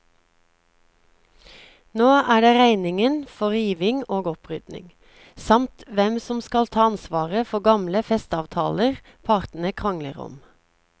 Nå er det regningen for riving og opprydding, samt hvem som skal ta ansvaret for gamle festeavtaler partene krangler om.